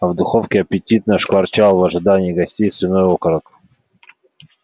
а в духовке аппетитно шкварчал в ожидании гостей свиной окорок